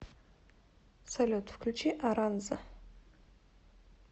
салют включи аранза